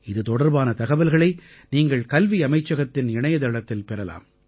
இது தொடர்பான தகவல்களை நீங்கள் கல்வியமைச்சகத்தின் இணையதளத்தில் பெறலாம்